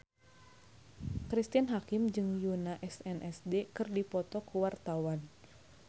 Cristine Hakim jeung Yoona SNSD keur dipoto ku wartawan